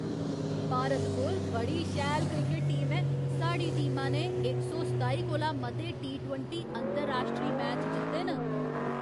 भारत कोल बड़ी शैल क्रिकट टीम ऐ। साढ़ी टीमा ने इक सौ सताई कोला मते टी ट्वेंटी अंतर राश्ट्री मैच जित्ते न।